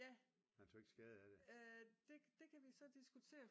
Ja det kan vi så diskutere